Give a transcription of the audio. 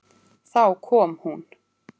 Þá kom hún.